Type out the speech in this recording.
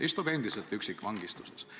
Ta istub endiselt üksikvangistuses.